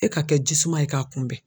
E ka kɛ jisuman ye k'a kunbɛn